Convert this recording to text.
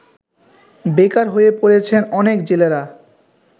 বেকার হয়ে পড়ছেন অনেক জেলেরা